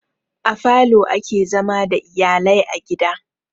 A falo ake zama da iyalai a gida.